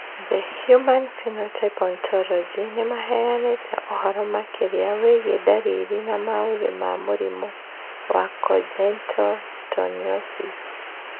The Human Phenotype Ontology nĩ ĩheanĩte ũhoro makĩria wĩgiĩ ndariri na maũthĩ ma mũrimũ wa mũrimũ wa Congenital torticollis.